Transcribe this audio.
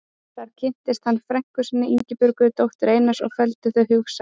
Þar kynntist hann frænku sinni, Ingibjörgu, dóttur Einars og felldu þau hugi saman.